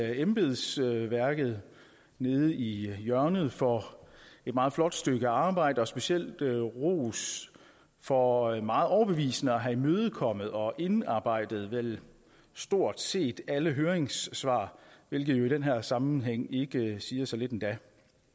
embedsværket nede i hjørnet for et meget flot stykke arbejde og specielt vil jeg rose for meget overbevisende at have imødekommet og indarbejdet vel stort set alle høringssvar hvilket i den her sammenhæng ikke siger så lidt endda